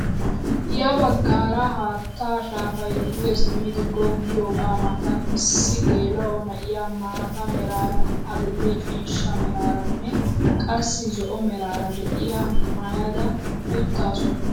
Ya baggaara haattaa shaafay duge simmidi goggiyaaga matan issi geela'o na'iyaa maata meraara, adil'e ciishsha meraaranne qassi zo'o meraara de'iyaa maayada uttaasu!